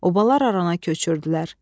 Obalar arana köçürdülər.